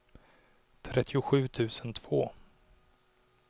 trettiosju tusen två